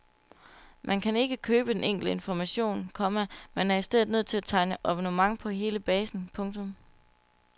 Man kan ikke købe den enkelte information, komma men er i stedet nødt til at tegne abonnement på hele basen. punktum